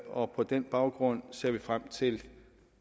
og på den baggrund ser vi frem til